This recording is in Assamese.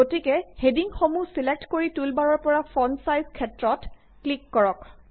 গতিকে হেডিংসমূহ ছিলেক্ট কৰি টুলবাৰৰ পৰা ফন্ট ছাইজ ক্ষেত্ৰত ক্লিক কৰক